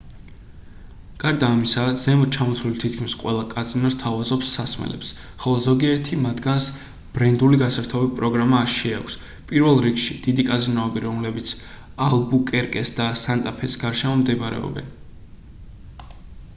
გარდა ამისა ზემოთ ჩამოთვლილი თითქმის ყველა კაზინო სთავაზობს სასმელებს ხოლო ზოგიერთი მათგანს ბრენდული გასართობი პროგრამა შეაქვს პირველ რიგში დიდი კაზინოები რომელიც ალბუკერკეს და სანტა-ფეს გარშემო მდებარეობენ